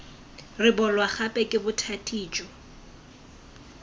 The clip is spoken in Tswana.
rebolwa gape ke bothati jo